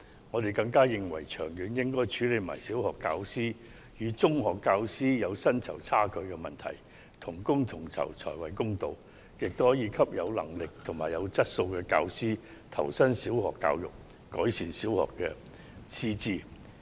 我們更認為長遠而言，應一併處理小學教師與中學教師的薪酬存在差距的問題，因為同工同酬才屬公道，這亦可鼓勵有能力及有質素的教師投身小學教育，改善小學的師資。